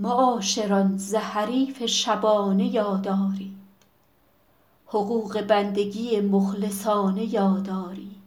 معاشران ز حریف شبانه یاد آرید حقوق بندگی مخلصانه یاد آرید